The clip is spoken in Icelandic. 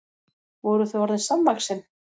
Voru þau orðin samvaxin?